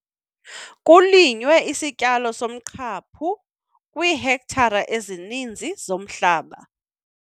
Kulinywe isityalo somqhaphu kwiihektare ezininzi zomhlaba.